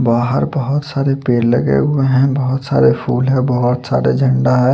बहार बहोत सारे पेड़ लगे हुए है बहोत सारे फूल है बहोत सारे झंडा है।